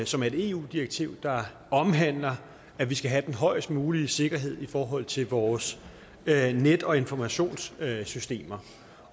som er et eu direktiv der omhandler at vi skal have den højest mulige sikkerhed i forhold til vores net og informationssystemer